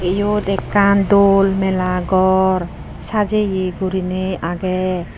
iyot ekkan dol mela gor sajeye gurinei agey.